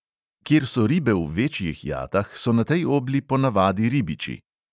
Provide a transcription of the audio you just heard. Kjer so ribe v večjih jatah, so na tej obli ponavadi ribiči.